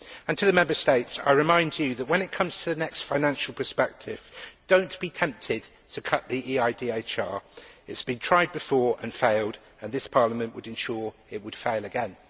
And, to the Member States, I remind you that when it comes to the next financial perspective, do not be tempted to cut the EIDHR. It has been tried before and failed, and this Parliament would ensure it would fail again.